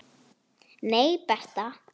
Nei, Bertha.